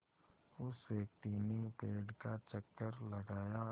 उस व्यक्ति ने पेड़ का चक्कर लगाया